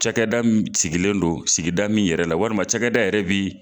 Cakɛda min sigilen don sigida min yɛrɛ la walima cɛkɛda yɛrɛ bi.